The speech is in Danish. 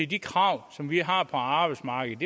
de krav som vi har på arbejdsmarkedet